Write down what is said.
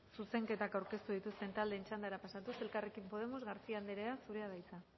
zuzenketak aurkeztu dituzten taldeen txandara pasatuz elkarrekin podemos garcía andrea zurea da hitza